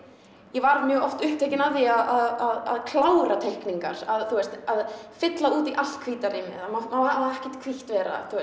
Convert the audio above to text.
ég var oft upptekin af því að klára teikningar að þú veist að fylla út í allt hvíta rýmið það má ekkert hvítt vera